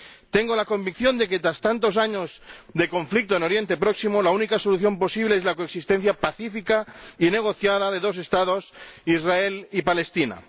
Tengo la convicción de que, tras tantos años de conflicto en Oriente Próximo, la única solución posible es la coexistencia pacífica y negociada de dos Estados, Israel y Palestina.